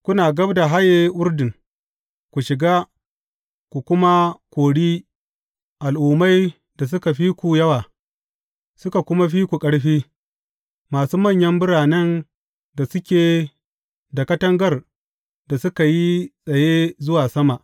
Kuna gab da haye Urdun, ku shiga, ku kuma kori al’ummai da suka fi ku yawa, suka kuma fi ku ƙarfi, masu manyan biranen da suke da katangar da suka yi tsaye zuwa sama.